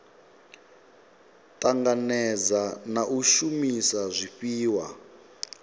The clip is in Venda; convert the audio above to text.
tanganedza na u shumisa zwifhiwa